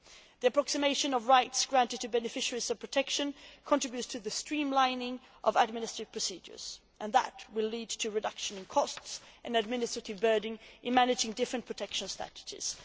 The approximation of rights granted to beneficiaries of protection contributes to the streamlining of administrative procedures and will lead to a reduction in costs and the administrative burden of managing different protection strategies.